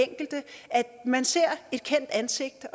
enkelte at man ser et kendt ansigt